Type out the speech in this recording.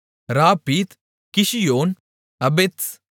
ராப்பித் கிஷியோன் அபெத்ஸ்